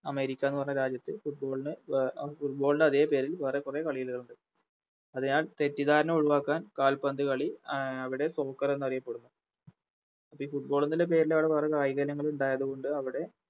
അമേരിക്കാന്ന് പറഞ്ഞ രാജ്യത്ത് Football ന് അഹ് Football ൻറെ അതെ പേരിൽ വേറെ കൊറേ കളികളുണ്ട് അതിനാൽ തെറ്റിദ്ധാരണ ഒഴിവാക്കാൻ കാൽപ്പന്ത് കളി അഹ് അവിടെ Soccer എന്നറിയപ്പെടുന്നു അപ്പൊ ഈ Football എന്ന് പേരിലാണ് വേറെ കായികയിനങ്ങളുണ്ടായത്കൊണ്ട് അവിടെ